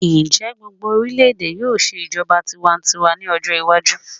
Njẹ gbogbo orilẹ-ede yoo ṣe ijọba tiwantiwa ni ọjọ iwaju?